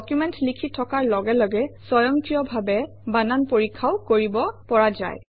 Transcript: document লিখি থকাৰ লগে লগে স্বয়ংক্ৰিয়ভাৱে বানান পৰীক্ষাও কৰিব পৰা যায়